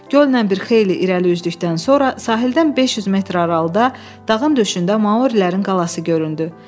Göllə bir xeyli irəli üzdükdən sonra sahildən 500 metr aralıda dağın döşündə Maurilərin qalası göründü.